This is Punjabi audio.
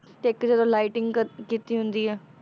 ਤੇ ਇੱਕ ਜਦੋਂ lighting ਕ~ ਕੀਤੀ ਹੁੰਦੀ ਹੈ,